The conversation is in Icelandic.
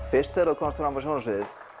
fyrst þegar þú komst fram á sjónarsviðið